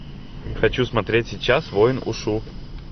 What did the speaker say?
хочу смотреть сейчас воин ушу